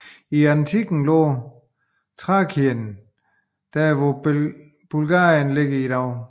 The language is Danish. I antikken lå Thrakien der hvor Bulgarien ligger i dag